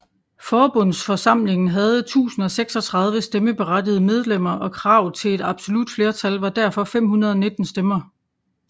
Forbundsforsamlingen havde 1036 stemmeberettigede medlemmer og kravet til et absolut flertal var derfor 519 stemmer